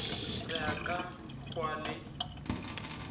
re a ka hwa le